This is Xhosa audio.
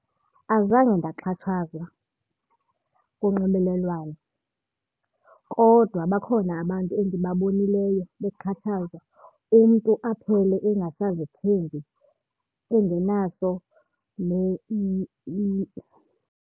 Azange ndaxhatshazwa kunxibelelwano kodwa bakhona abantu endibabonileyo bexhatshazwa, umntu aphele engasazithembi engenaso .